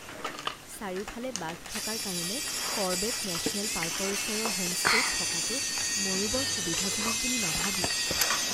চাৰিওফালে বাঘ থকাৰ কাৰণে কৰবেট নেশ্যনেল পাৰ্কৰ ওচৰৰ হোমষ্টে'ত থকাটো ময়ো বৰ সুবিধাজনক বুলি নাভাবোঁ।